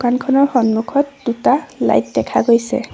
দোকানখনৰ সন্মুখত দুটা লাইট দেখা গৈছে।